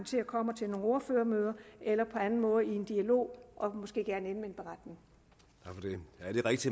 og kommer til nogle ordførermøder eller på anden måde går i dialog og måske ender